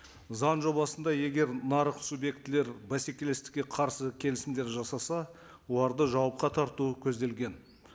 заң жобасында егер нарық субъектілері бәсекелестікке қарсы келісімдер жасаса оларды жауапқа тарту көзделген